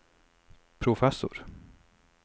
professor